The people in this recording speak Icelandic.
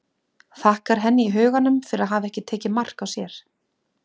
Þakkar henni í huganum fyrir að hafa ekki tekið mark á sér.